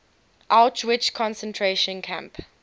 auschwitz concentration camp